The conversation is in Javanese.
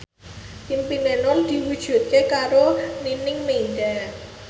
impine Nur diwujudke karo Nining Meida